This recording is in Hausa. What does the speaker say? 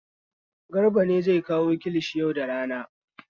Garba ne zai kawo kilishin yau da rana.